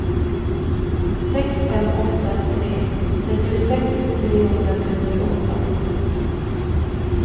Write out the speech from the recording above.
sex fem åtta tre trettiosex trehundratrettioåtta